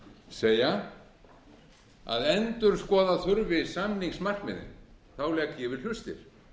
segja að endurskoða þurfi samningsmarkmiðin þá legg ég vil hlustir